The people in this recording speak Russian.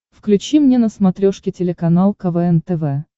включи мне на смотрешке телеканал квн тв